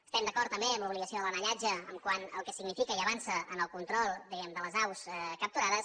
estem d’acord també amb l’obligació de l’anellatge quant al que significa i avança en el control diguem ne de les aus capturades